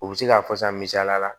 U bɛ se k'a fɔ san misaliya la